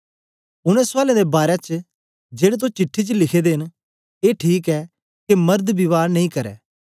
उनै सुयालें दे बारै च जेड़े तो चिट्ठी च लिखे दे न ए ठीक ऐ के मर्द विवाह नेई करै